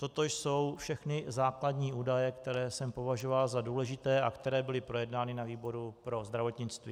Toto jsou všechny základní údaje, které jsem považoval za důležité a které byly projednány na výboru pro zdravotnictví.